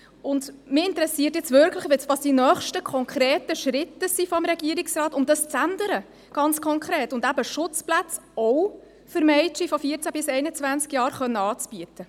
Mich interessiert wirklich, welches die nächsten konkreten Schritte des Regierungsrates sind, um dies ganz konkret zu ändern und Schutzplätze, auch für Mädchen von 14 bis 21 Jahren, anbieten zu können.